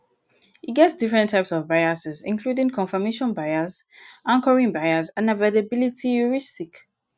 e get different types of biases including confirmation bias anchoring bias and availability heuristic.